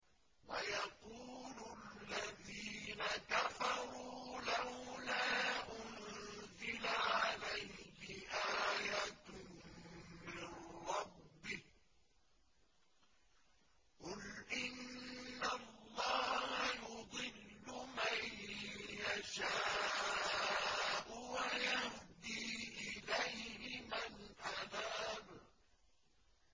وَيَقُولُ الَّذِينَ كَفَرُوا لَوْلَا أُنزِلَ عَلَيْهِ آيَةٌ مِّن رَّبِّهِ ۗ قُلْ إِنَّ اللَّهَ يُضِلُّ مَن يَشَاءُ وَيَهْدِي إِلَيْهِ مَنْ أَنَابَ